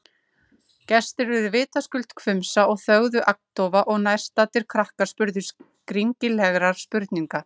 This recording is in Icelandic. Gestir urðu vitaskuld hvumsa og þögðu agndofa- og nærstaddir krakkar spurðu skringilegra spurninga.